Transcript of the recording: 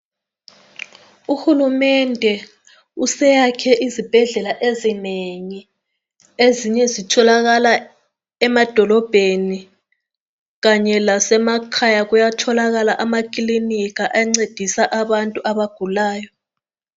Uhulumende useyakhe izibhedlela ezinengi ezinye zitholakala emadolobheni kanye lasemakhaya kuyatholakala amakilinika ancedisa abantu abagulayo.